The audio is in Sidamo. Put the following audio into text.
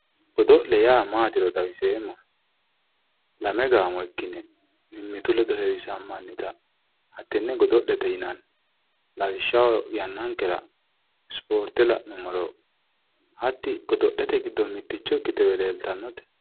Godo'le yaa matiro xawiseemmohe, lame gaamo ikkine mimmitu ledo heewisamannitta hatene godo'lete yinnanni lawishshaho yannankera isporte la'nuummoro hatti godo'lete giddo mitichowe ikkite leellittanote.